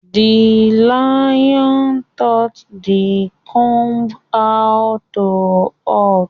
The lion taught the comb how to hunt